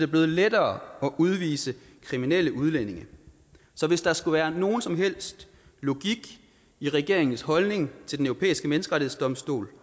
blevet lettere at udvise kriminelle udlændinge så hvis der skulle være nogen som helst logik i regeringens holdning til den europæiske menneskerettighedsdomstol